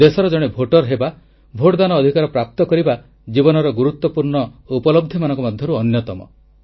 ଦେଶର ଜଣେ ଭୋଟର ହେବା ଭୋଟଦାନ ଅଧିକାର ପ୍ରାପ୍ତ କରିବା ଜୀବନର ଗୁରୁତ୍ୱପୂର୍ଣ୍ଣ ଉପଲବ୍ଧିମାନଙ୍କ ମଧ୍ୟରୁ ଅନ୍ୟତମ